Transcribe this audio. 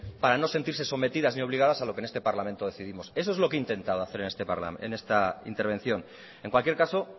para no sentirse sometidas ni obligadas a lo que en este parlamento decidimos eso es lo que intentaba hacer en esta intervención en cualquier caso